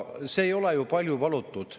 See ei ole ju palju palutud.